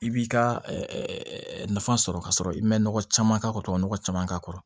I b'i ka nafa sɔrɔ ka sɔrɔ i ma nɔgɔ caman k'a kɔrɔ tubabu nɔgɔ caman k'a kɔrɔ